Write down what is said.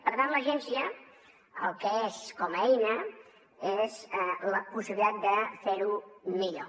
per tant l’agència el que és com a eina és la possibilitat de fer ho millor